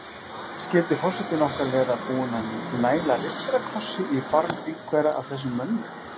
Skyldi forsetinn okkar vera búinn að næla riddarakrossi í barm einhverra af þessum mönnum?